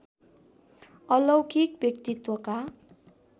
अलौकिक व्यक्तित्वका